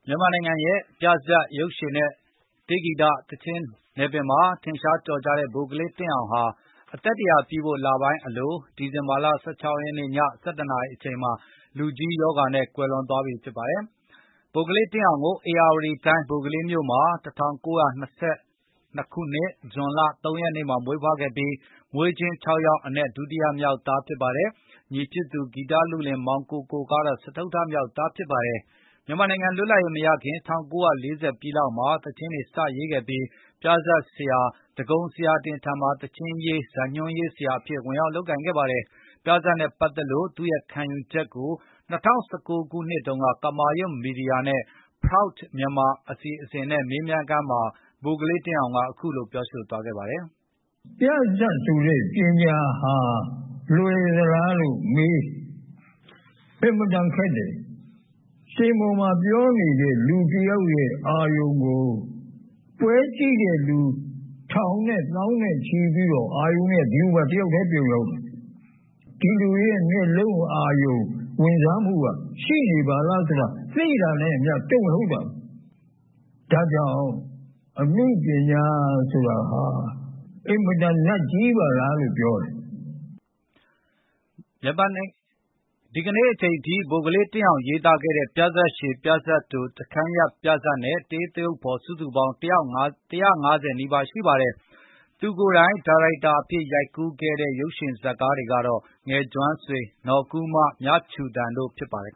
မြန်မာနိုင်ငံရဲ့ ပြဇာတ်၊ ရုပ်ရှင်နဲ့ တေးသီချင်း ဂီတနယ်ပယ်မှာ ထင်ရှားကျော်ကြားတဲ့ ဗိုလ်ကလေး တင့်အောင်ဟာ အသက်(၁၀၀)ပြည့်ဖို့ လပိုင်းအလို၊ ဒီဇင်ဘာလ(၁၆)ရက် ည ၁၁ နာရီအချိန်မှာ လူကြီးရောဂါနဲ့ ကွယ်လွန် သွားပြီဖြစ်ပါတယ်။ ဗိုလ်ကလေး တင့်အောင်ကို ဧရာဝတီတိုင်း ဘိုကလေးမြို့မှာ ၁၉၂၂ ခု၊ ဇွန်လ(၃)ရက်နေ့မှာ မွေးဖွားခဲ့ပြီး မွေးချင်း ၆ ယောက်အနက် ဒုတိယမြောက် သားဖြစ်ပါတယ်။ ညီဖြစ်သူ ဂီတလုလင် မောင်ကိုကိုကတော့ စတုတ္ထမြောက်သား ဖြစ်ပါတယ်။ မြန်မာနိုင်ငံ လွတ်လပ်ရေး မရခင် ၁၉၄၀ ပြည့်လောက်မှာ သီချင်းတွေ စရေးခဲ့ပြီး ၊ ပြဇာတ်ဆရာ ဒဂုန်ဆရာတင်ထံမှာ သီချင်းရေး၊ ဇာတ်ညွှန်းရေး ဆရာအဖြစ် ဝင်ရောက် လုပ်ကိုင်ခဲ့ပါတယ်။ ပြဇာတ်နဲ့ ပတ်သက်လို့ သူ့ရဲ့ခံယူချက်ကို ၂၀၁၉ ခုနှစ်တုန်းက ကမာရွတ်-မီဒီယာရဲ့ Proud Myanmar အစီအစဉ်နဲ့ မေးမြန်းခန်းမှာ ဗိုလ်ကလေး တင့်အောင်က ခုလို ပြောသွားပါတယ်။ " ပြဇာတ်ဆိုတဲ့ ပညာဟာ လွယ်သလားလို့ မေးရင်၊ အင်မတန်ခက်တယ်။ စင်ပေါ်မှာ ပြောနေတဲ့ လူတယောက်ရဲ့အာရုံကို ပွဲကြည့်တဲ့သူ ထောင်သောင်းချီတဲ့လူတွေရဲ့ အာရုံက စင်ပေါ်ကလူဆီကို တယောက်ထဲ ပြုံပြီးရောက်တယ်။ အဲဒီလူတွေရဲ့ မျက်လုံး အာရုံဝင်စားမှုက ရှိနေပါလားဆိုတာ သိလိုက်တာနဲ့အမျှ တုန်လှုပ်သွားတာ။ ဒါ့ကြောင့် အနုပညာ ဆိုတာဟာ အင်မတန် နတ်ကြီးပါလားလို့ ပြောကြတယ်။ " ဒီကနေ့အချိန်ထိ ဗိုလ်ကလေးတင့်အောင် ရေးသားခဲ့တဲ့ ပြဇာတ်ရှည် ၊ ပြဇာတ်တို၊ တစ်ခန်းရပ် ပြဇာတ်နဲ့ တေးသရုပ်ဖော် စုစုပေါင်း ၁၅၀ နီးပါး ရှိပါတယ်။ သူကိုယ်တိုင် ဒါရိုက်တာအဖြစ် ရိုက်ကူးခဲ့တဲ့ ရုပ်ရှင်ဇာတ်ကားတွေက - "ငယ်ကျွမ်းဆွေ၊ နော်ကူးမ ၊ မြခြူသံ" တို့ ဖြစ်ပါတယ်